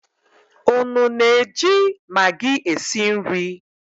Unu na-eji maggi esi nri?